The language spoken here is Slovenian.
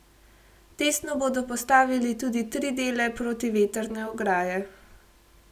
Testno bodo postavili tudi tri dele protivetrne ograje.